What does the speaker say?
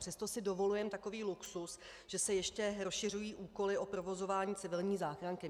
Přesto si dovolujeme takový luxus, že se ještě rozšiřují úkoly o provozování civilní záchranky.